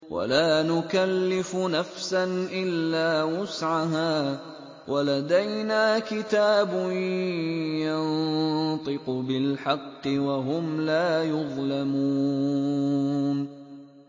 وَلَا نُكَلِّفُ نَفْسًا إِلَّا وُسْعَهَا ۖ وَلَدَيْنَا كِتَابٌ يَنطِقُ بِالْحَقِّ ۚ وَهُمْ لَا يُظْلَمُونَ